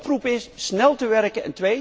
De oproep is snel te werken.